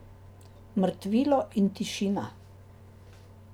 Mrtvilo in tišina.